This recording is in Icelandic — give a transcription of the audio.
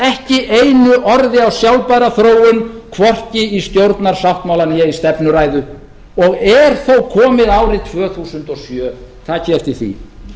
ekki einu orði á sjálfbæra þróun hvorki í stjórnarsáttmála né í stefnuræðu og er þó komið árið tvö þúsund og sjö takið eftir því